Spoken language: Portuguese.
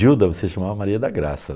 Gilda, você chamava Maria da Graça.